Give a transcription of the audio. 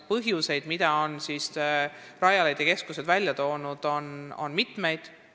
Põhjuseid, mida Rajaleidja keskused on toonud, on mitmeid.